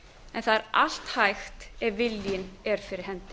en það er allt hægt ef viljinn er fyrir hendi